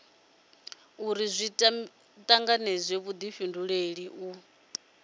uri zwi tanganedze vhudifhinduleli u